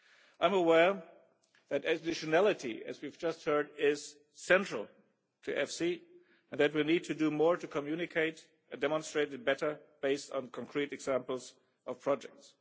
I am aware that additionality, as we have just heard, is central to EFSI and that we need to do more to communicate and demonstrate it better, based on concrete examples of projects.